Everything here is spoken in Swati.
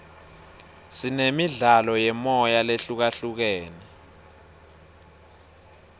sinemidlalo yemoya lehlukahlukene